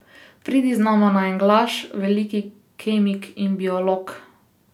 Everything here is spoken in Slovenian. Pridi z nama na en glaž, veliki kemik in biolog.